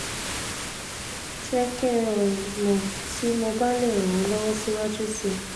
je ki n mo ti mo ba le ran o lowo siwaju si